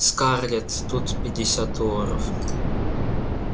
скарлетт тут пятьдесят долларов